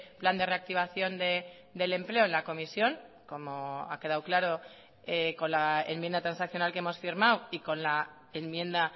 plan de reactivación del empleo en la comisión como ha quedado claro con la enmienda transaccional que hemos firmado y con la enmienda